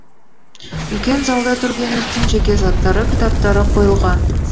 үлкен залда тургеневтің жеке заттары кітаптары қойылған